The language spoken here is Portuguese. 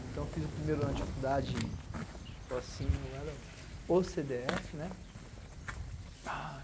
Então, eu fiz o primeiro ano de faculdade, tipo assim, eu era o cê dê efe, né?